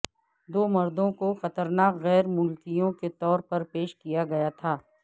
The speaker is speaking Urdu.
دو مردوں کو خطرناک غیر ملکیوں کے طور پر پیش کیا گیا تھا